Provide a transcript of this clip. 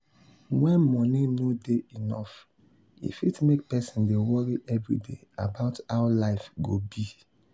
when money no dey enough e fit make person dey worry every day about how life go be.